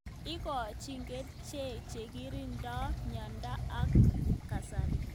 Ikochin kerixhek chekirindoi mnyendo ab kasari.